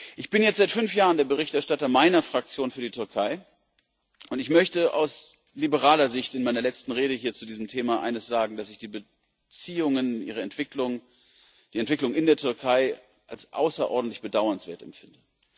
Ich bin jetzt seit fünf Jahren der Berichterstatter meiner Fraktion für die Türkei, und ich möchte aus liberaler Sicht in meiner letzten Rede hier zu diesem Thema eines sagen, dass ich die Beziehungen und die Entwicklung in der Türkei als außerordentlich bedauernswert empfinde.